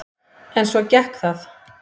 En svo gekk það.